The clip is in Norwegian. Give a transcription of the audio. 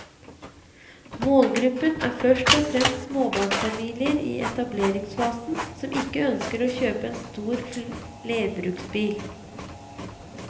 Målgruppen er først og fremst småbarnsfamilier i etableringsfasen som ikke ønsker å kjøpe en stor flerbruksbil.